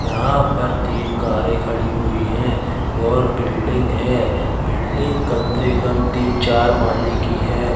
यहां पर तीन कारे खड़ी हुई है और बिल्डिंग है बिल्डिंग कम से कम तीन चार माले की है।